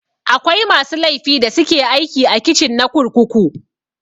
Akwai masu laifi da suke aiki a kicin na kurkuku.